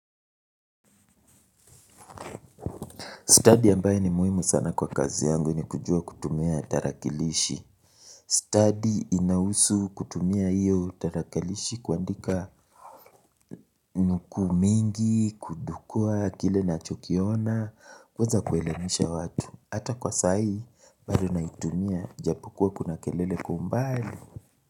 Stadi ambayo ni muhimu sana kwa kazi yangu ni kujua kutumia tarakilishi. Stadi inahusu kutumia hiyo tarakilishi kuandika nukuu mingi, kudukua, kile nachokiona, kwanza kuelemisha watu. Hata kwa saa hoi, bado naitumia, japokuwa kuna kelele kwa umbali.